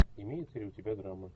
имеется ли у тебя драма